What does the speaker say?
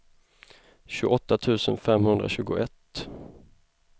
tjugoåtta tusen femhundratjugoett